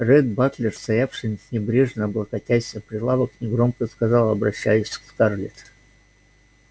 ретт батлер стоявший небрежно облокотясь о прилавок негромко сказал обращаясь к скарлетт